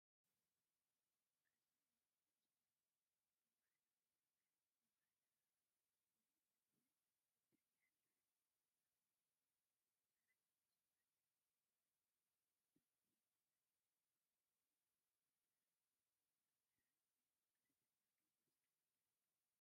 ኣዝዩ ውቁብ ዝኾነ ብባህላዊ ኣቕሓን ብባህላዊ ምግብን ጉዳይ ይሓልፍ፡፡ ብኸመዞም ብዙሓት መሶባት ምልኩዕ ታንቴላት ተኸዲኖም እንጀራ ጌርኩም ናብ መርዓ ወይ ክርስትና ዶ ወሲድኩም ትፈልጡ?